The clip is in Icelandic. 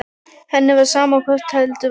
Henni var sama hvort heldur var.